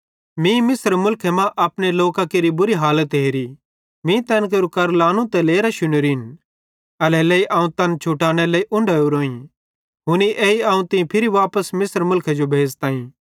मीं मिस्र मुलखे मां अपने लोकां केरि बुरी हालत हेरी मीं तैन केरू करलानू ते लेरां शुनोरिन एल्हेरेलेइ अवं तैन छुटानेरे लेइ उंढो ओरोईं हुनी एई अवं तीं फिरी वापस मिस्र मुलखे जो भेज़ताईं